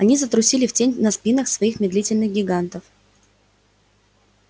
они затрусили в тень на спинах своих медлительных гигантов